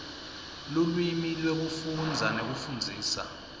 lulwimi lwekufundza nekufundzisa